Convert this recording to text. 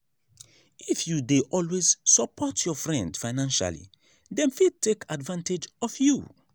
if you dey always support your friend financially them fit take advantage of you.